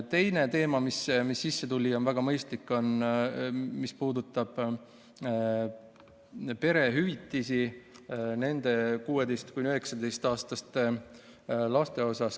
Teine teema, mis sisse tuli ja on väga mõistlik, puudutab perehüvitisi 16–19-aastaste laste puhul.